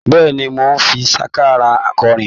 Bẹ́ẹ̀ni, mò ń fi sákárà kọrin?